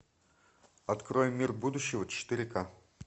открой мир будущего четыре ка